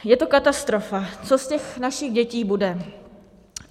Je to katastrofa, co z těch našich dětí bude.